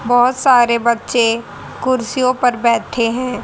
बहोत सारे बच्चे कुर्सियों पर बैठे हैं।